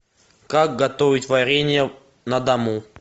как готовить варенье на дому